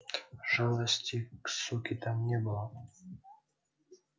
жалости к суке там не было